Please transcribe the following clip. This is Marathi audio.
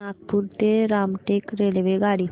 नागपूर ते रामटेक रेल्वेगाडी